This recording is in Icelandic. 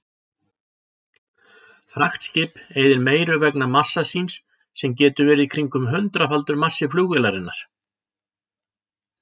Fraktskip eyðir meiru vegna massa síns sem getur verið kringum hundraðfaldur massi flugvélarinnar.